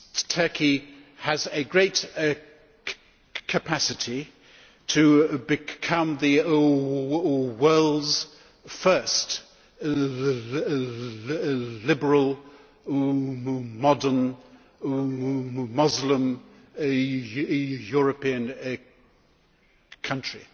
Turkey has a great capacity to become the world's first liberal modern Muslim European country,